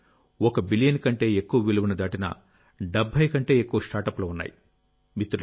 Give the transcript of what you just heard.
అంటే 1 బిలియన్ కంటే ఎక్కువ విలువను దాటిన 70 కంటే ఎక్కువ స్టార్టప్లు ఉన్నాయి